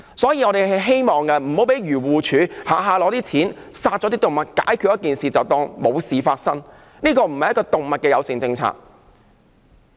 所以，我們希望不要讓漁護署輕易用錢殺動物，解決事情後便當作沒事發生，這並非動物友善政策。